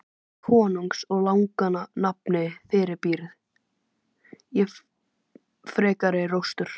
Í konungsins og laganna nafni fyrirbýð ég frekari róstur!